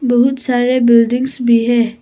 बहुत सारे बिल्डिंग्स भी हैं।